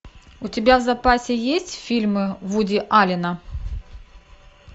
у тебя в запасе есть фильмы вуди аллена